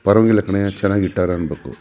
ಪರ್ವಾಗಿಲ್ಲ ಕಣೆ ಚೆನ್ನಾಗಿ ಇಟ್ಟಾರೆ ಅನ್ಬೇಕು.